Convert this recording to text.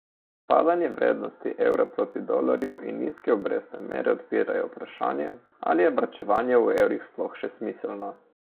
Padanje vrednosti evra proti dolarju in nizke obrestne mere odpirajo vprašanje, ali je varčevanje v evrih sploh še smiselno.